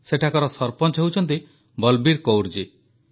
ସେଠାକାର ସରପଞ୍ଚ ହେଉଛନ୍ତି ବଲବୀର କୌର ଜୀ